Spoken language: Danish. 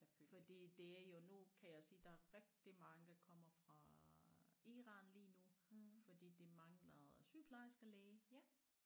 Fordi det er jo nu kan jeg se der er rigtig mange der kommer fra Iran lige nu fordi de mangler sygeplejersker læge